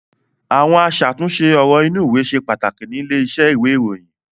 Àwọn aṣàtúnṣe ọ̀rọ̀ inúùwé ṣe pàtàkì nílé iṣẹ́ ìwé-ìròyìn.